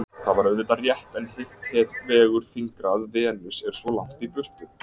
Það er auðvitað rétt en hitt vegur þyngra að Venus er svo langt í burtu.